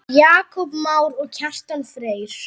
Jakob Már og Kjartan Freyr.